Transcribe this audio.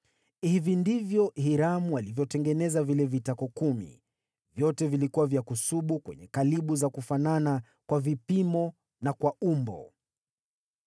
Hivi ndivyo Hiramu alivyotengeneza vile vitako kumi. Vyote vilikuwa vya kusubu kwenye kalibu za kufanana kwa vipimo na kwa umbo.